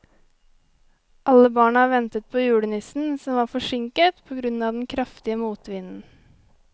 Alle barna ventet på julenissen, som var forsinket på grunn av den kraftige motvinden.